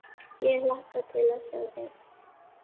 Ég hlakka til að sjá þig.